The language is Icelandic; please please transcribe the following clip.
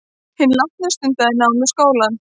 Hinn látni stundaði nám við skólann